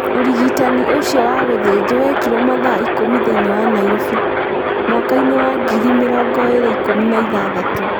Ũrigitani ũcio wagũthinjuo wekirũo mathaa ikũmi thĩinĩ wa Nairovi, mwaka-inĩ wa ngiri mĩrongo ĩĩrĩ ikũmi na ĩthathatũ.